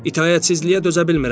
İtaətsizliyə dözə bilmirəm mən.